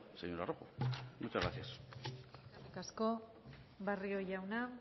señora rojo muchas gracias eskerrik asko barrio jauna